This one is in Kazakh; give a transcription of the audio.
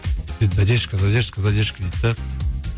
задержка задержка задержка дейді де